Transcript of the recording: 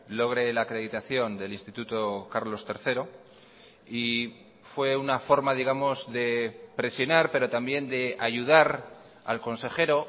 logre la acreditación del instituto carlos tercero y fue una forma digamos de presionar pero también de ayudar al consejero